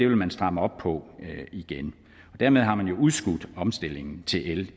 man stramme op på igen dermed har man jo udskudt omstillingen til el